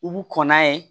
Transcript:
U b'u kɔn n'a ye